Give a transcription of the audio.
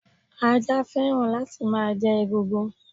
Ajá fẹ́ràn láti má jẹ egungun